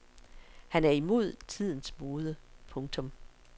Han er imod tidens mode. punktum